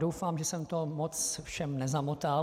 Doufám, že jsem to moc všem nezamotal.